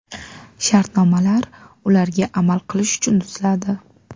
Shartnomalar ularga amal qilish uchun tuziladi.